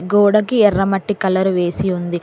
గోడకి ఎర్ర మట్టి కలర్ వేసి ఉంది.